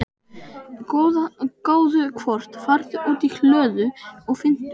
gáðu hvort. farðu út í hlöðu og finndu.